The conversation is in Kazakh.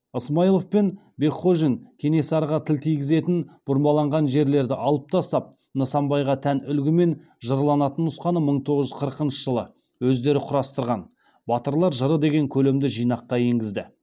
ысмайылов пен бекхожин кенесарыға тіл тигізетін бұрмаланған жерлерді алып тастап нысанбайға тән үлгімен жырланатын нұсқаны мың тоғыз жүз қырықыншы жылы өздері құрастырған батырлар жыры деген көлемді жинаққа енгізді